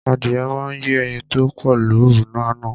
Adìyẹ náà yé ẹyin tó pọ̀ lóru àná